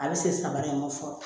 A bɛ se sabanan in ma fɔlɔ